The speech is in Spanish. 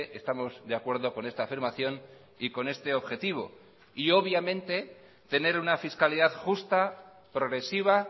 estamos de acuerdo con esta afirmación y con este objetivo y obviamente tener una fiscalidad justa progresiva